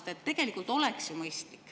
See oleks tegelikult ju mõistlik.